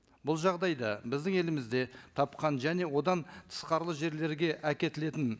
бұл жағдайда біздің елімізде тапқан және одан тысқарлы жерлерге әкетілетін